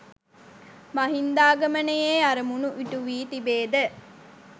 මහින්දාගමනයේ අරමුණු ඉටු වී තිබේද